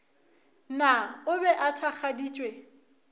na o be a thakgaditšwe